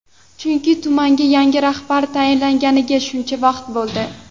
Chunki tumanga yangi rahbar tayinlanganiga shuncha vaqt bo‘ldi.